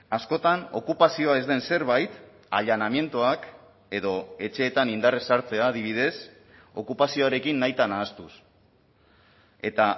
askotan okupazioa ez den zerbait allanamientoak edo etxeetan indarrez sartzea adibidez okupazioarekin nahita nahastuz eta